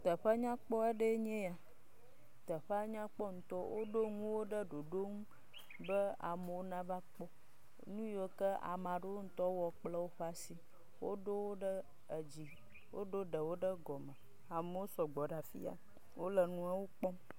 Ƒe nyakpɔ ɖee nye ya. Teƒea nya kpɔ ŋutɔ. Woɖo ŋuwo ɖe ɖoɖo ŋu be amewo nava kpɔ. Nu yi wo ke ameaɖewwo ŋutɔ wɔ kple wo ŋutɔ woƒe asi. Woɖowo ɖe edzi. Woɖo ɖewo ɖe gɔme. Amewo sɔ gbɔ ɖe afi yia. Wole nuawo kpɔm.